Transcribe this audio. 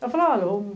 Eu falei, olha...